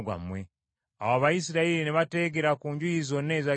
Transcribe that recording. Awo Abayisirayiri ne bateegera ku njuyi zonna eza Gibea.